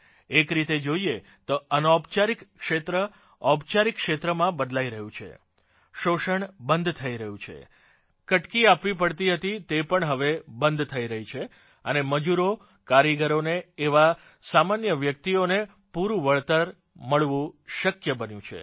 એક રીતે જોઇએ તો અનૌપચારિક ક્ષેત્ર ઔપચારિક ક્ષેત્રમાં બદલાઇ રહ્યું છે શોષણ બંધ થઇ રહ્યું છે કટકી આપવી પડતી હતી તે પણ હવે બંધ થઇ રહી છે અને મજૂરોને કારીગરોને એવા સામાન્ય વ્યક્તિઓને પૂરું વળતર મળવું શક્ય બન્યું છે